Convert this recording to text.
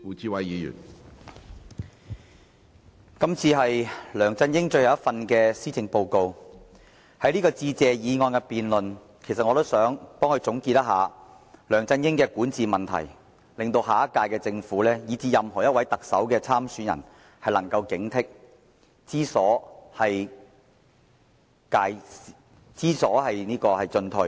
主席，今次是梁振英的最後一份施政報告，在致謝議案的辯論中，我想總結一下梁振英的管治問題，致令下屆政府以至任何一位特首參選人也能有所警惕，知所進退。